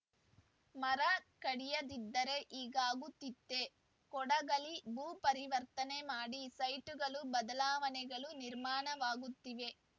ಮರ ಕಡಿಯದಿದ್ದರೆ ಹೀಗಾಗುತ್ತಿತ್ತೆ ಕೊಡಗಲ್ಲಿ ಭೂ ಪರಿವರ್ತನೆ ಮಾಡಿ ಸೈಟ್‌ಗಳು ಬದಲಾವಣೆಗಳು ನಿರ್ಮಾಣವಾಗುತ್ತಿವೆ